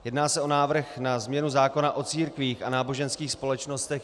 Jedná se o návrh na změnu zákona o církvích a náboženských společnostech.